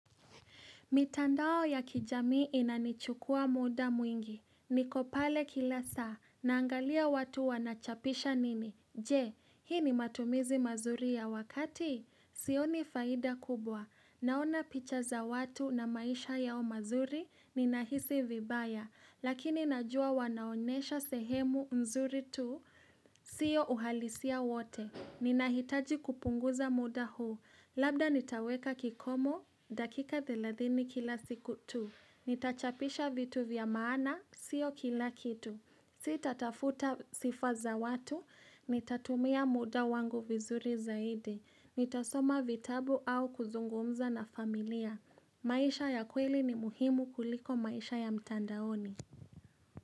Mitandao ya kijamii inanichukua muda mwingi. Nikopale kila saa, naangalia watu wanachapisha nini. Je, hii ni matumizi mazuri ya wakati? Sio ni faida kubwa. Naona picha za watu na maisha yao mazuri, ni nahisi vibaya. Lakini najua wanaonesha sehemu mzuri tu, siyo uhalisia wote. Ninahitaji kupunguza muda huu. Labda nitaweka kikomo, dakika thelathini kila siku tu Nitachapisha vitu vya maana, sio kila kitu sita tafuta sifaza watu, nitatumia muda wangu vizuri zaidi Nitasoma vitabu au kuzungumza na familia maisha ya kweli ni muhimu kuliko maisha ya mtandaoni.